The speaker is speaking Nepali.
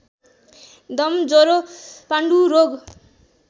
दम ज्वरो पाण्डुरोग